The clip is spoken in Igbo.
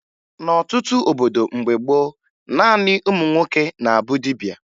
N'ọtụtụ obodo mgbe gboo, naanị ụmụ nwoke na-abụ dibia